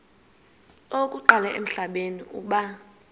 okokuqala emhlabeni uba